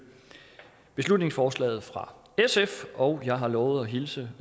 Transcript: beslutningsforslaget fra sf og jeg har lovet at hilse